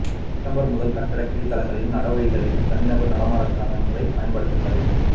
September முதல் கட்டடக் கீழ்த்தளங்களிலும் நடைவழிகளிலும் தனிநபர் நடமாட்டச் சாதனங்களைப் பயன்படுத்த தடை